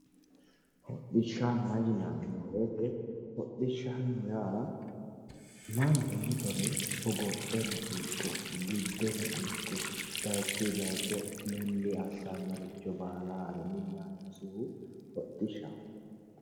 Hodhishshanna yinanni woyiite mannu mitore hogopheno ikko giddeno ikko bayiichii bayiicho milli assannoricho baala haare